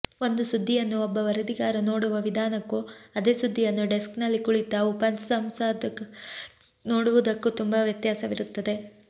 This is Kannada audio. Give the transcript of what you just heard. ಒಂದು ಸುದ್ದಿಯನ್ನು ಒಬ್ಬ ವರದಿಗಾರ ನೋಡುವ ವಿಧಾನಕ್ಕೂ ಅದೇ ಸುದ್ದಿಯನ್ನು ಡೆಸ್ಕ್ ನಲ್ಲಿ ಕುಳಿತ ಉಪಸಂಪಾದಕರು ನೋಡುವುದಕ್ಕೂ ತುಂಬಾ ವ್ಯತ್ಯಾಸವಿರುತ್ತದೆ